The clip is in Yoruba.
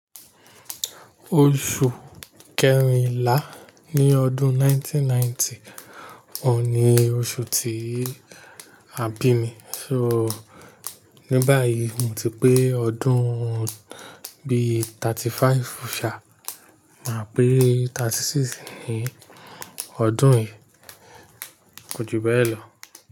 Oṣù kẹrinlá ní ọdún 1990 ọun ni oṣù tí a bi mi, so ní báyìí mo ti pé ọdún bí 35 ṣa, máa pé 36 ní ọdún yìí, ko ju bẹ́ẹ̀ lọ.